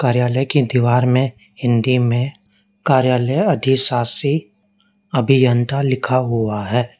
कार्यालय की दीवार में हिंदी में कार्यालय अधिशासी अभियंता लिखा हुआ है।